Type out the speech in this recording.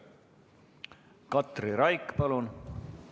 Katri Raik, palun!